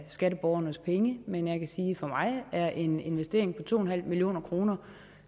skatteborgernes penge man jeg kan sige at for mig er en investering på to en halv million kroner